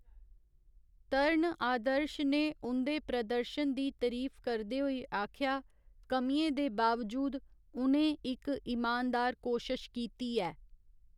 तरण आदर्श ने उं'दे प्रदर्शन दी तरीफ करदे होई आखेआ, कमियें दे बावजूद, उ'नें इक इमानदार कोशश कीती ऐ।